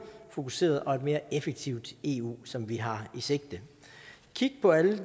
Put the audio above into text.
fokuseret og et mere effektivt eu som vi har i sigte kig på alle